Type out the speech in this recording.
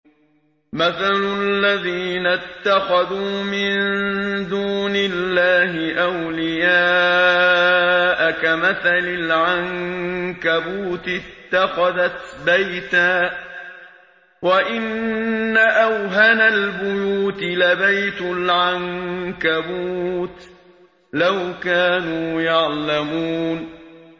مَثَلُ الَّذِينَ اتَّخَذُوا مِن دُونِ اللَّهِ أَوْلِيَاءَ كَمَثَلِ الْعَنكَبُوتِ اتَّخَذَتْ بَيْتًا ۖ وَإِنَّ أَوْهَنَ الْبُيُوتِ لَبَيْتُ الْعَنكَبُوتِ ۖ لَوْ كَانُوا يَعْلَمُونَ